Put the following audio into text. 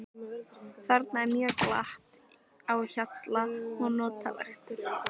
Þarna er mjög glatt á hjalla og notalegt.